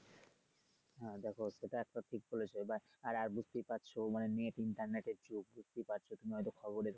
হ্যা দেখো সেটা একটা ঠিক বলেছো আহ দেখতে পাচ্ছো মানে net~ internet যুগ দেখতে পাচ্ছো তুমি হয়তো খবরে